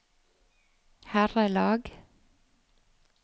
herrelag